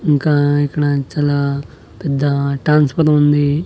ఇంకా ఇక్కడ చాలా పెద్ద ట్రాన్స్ఫార్మ్ ఉంది.